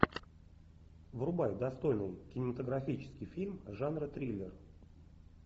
врубай достойный кинематографический фильм жанра триллер